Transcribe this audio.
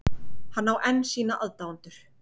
Hann á enn sína aðdáendur